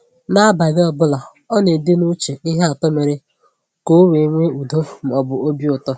N’abalị ọ bụla, ọ na-ede n’uche ihe atọ mere ka o nwee udo ma ọ bụ obi ụtọ.